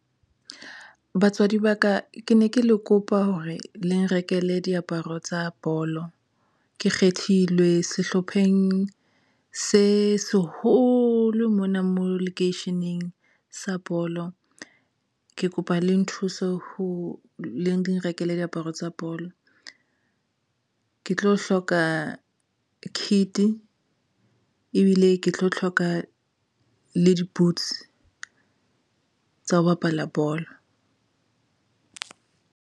Batswadi ba ka ke ne ke le kopa hore le nrekele diaparo tsa bolo. Ke kgethilwe sehlopheng se seholo mona mo lekeisheneng sa bolo, ke kopa le nthuso ho le nrekele diaparo tsa bolo. Ke tlo hloka kit ebile ke tlo hloka le di-boots tsa ho bapala bolo.